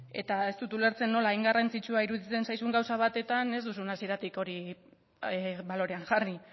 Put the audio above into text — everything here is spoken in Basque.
eta ez dut ulertzen nola hain garrantzitsua iruditzen zaizun gauza batetan ez duzun hasieratik hori balorean jarri